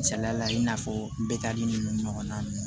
Misaliya la i n'a fɔ bɛta nin ɲɔgɔnna